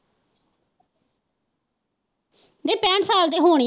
ਪੈਂਹਠ ਸਾਲ ਦੀ ਹੋਣੀ।